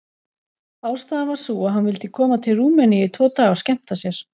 Ástæðan var sú að hann vildi koma til Rúmeníu í tvo daga og skemmta sér.